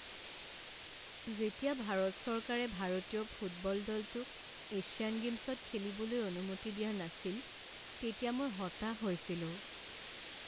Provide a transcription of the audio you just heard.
যেতিয়া ভাৰত চৰকাৰে ভাৰতীয় ফুটবল দলটোক এছিয়ান গে'মছত খেলিবলৈ অনুমতি দিয়া নাছিল তেতিয়া মই হতাশ হৈছিলোঁ।